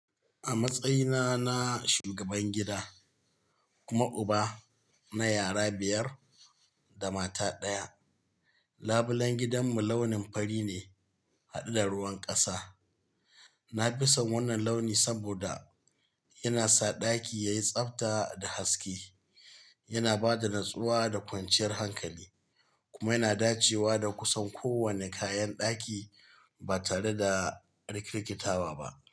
A matsayina na shugaban gida kuma uba na yara biyar da mata ɗaya, labulen gidanmu launin fari ne haɗe da ruwan ƙasa. Na fi son wannan launi saboda yana sa ɗaki yayi tsabta da haske, yana ba da natsuwa da kwanciyar hankali kuma yana dacewa da kusan kowane kayan ɗaki ba tare da rikirkikatawa ba.